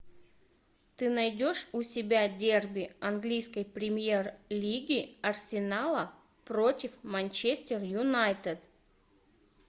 ты найдешь у себя дерби английской премьер лиги арсенала против манчестер юнайтед